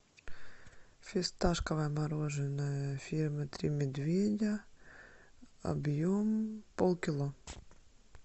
фисташковое мороженое фирмы три медведя объем полкило